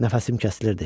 Nəfəsim kəsilirdi.